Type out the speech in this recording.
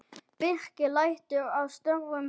Birkir lætur af störfum hjá.